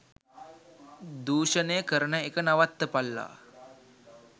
දූෂණය කරන එක නවත්තපල්ලා.